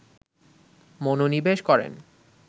মনোনিবেশ করেন